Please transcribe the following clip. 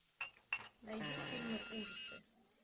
найди фильмы ужасы